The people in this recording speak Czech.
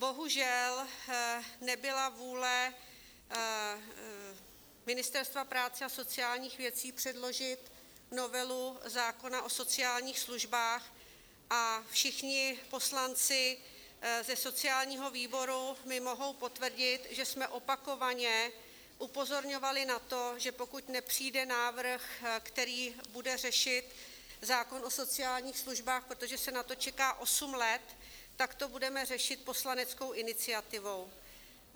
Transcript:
Bohužel, nebyla vůle Ministerstva práce a sociálních věcí předložit novelu zákona o sociálních službách a všichni poslanci ze sociálního výboru mi mohou potvrdit, že jsme opakovaně upozorňovali na to, že pokud nepřijde návrh, který bude řešit zákon o sociálních službách, protože se na to čeká osm let, tak to budeme řešit poslaneckou iniciativou.